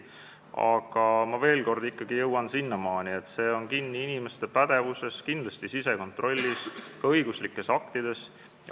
Aga ma veel kord ikkagi jõuan selleni, et see sõltub inimeste pädevusest, kindlasti sisekontrollist ja ka õigusaktidest.